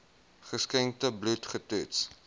geskenkte bloed getoets